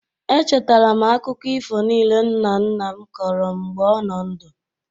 Echetara m akụkọ ifo niile nna nna m kọrọ m mgbe ọ nọ ndụ.